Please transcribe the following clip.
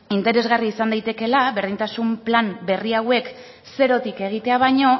interesgarria izan daitekeela berdintasun plan berri hauek zerotik egitea baino